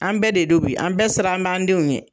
An bɛɛ de don bi an bɛɛ sira b'an denw ɲɛ